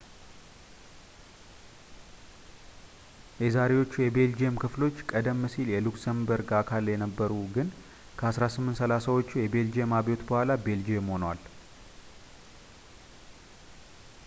የዛሬዎቹ የቤልጅየም ክፍሎች ቀደም ሲል የሉክሰምበርግ አካል ነበሩ ግን ከ 1830 ዎቹ የቤልጂየም አብዮት በኋላ ቤልጅየም ሆነዋል